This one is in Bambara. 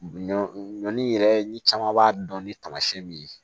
Ɲɔ ɲɔ yɛrɛ ni caman b'a dɔn ni tamasiyɛn min ye